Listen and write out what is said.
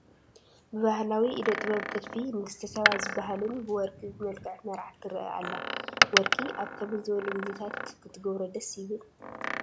ብባህላዊ ኢደ ጥበብ ጥልፊ ንግስተ ሳባ ዝባሃልን ብወርቅን ዝመልከዐት መርዓት ትረአ ኣላ፡፡ ወርቂ ኣብ ከመይ ዝበሉ ጊዜታት ክትገብሮ ደስ ይብል?